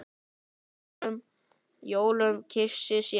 á jólum kysi sér.